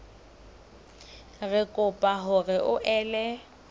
re kopa hore o ele